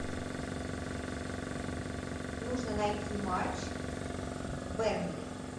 нужно найти матч бернли